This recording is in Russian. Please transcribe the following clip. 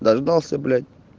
дождался блять